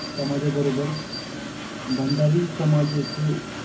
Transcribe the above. समाजाबरोबर भंडारी समाज येथे